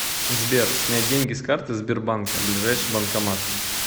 сбер снять деньги с карты сбербанка ближайший банкомат